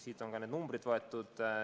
Siit on ka need numbrid võetud.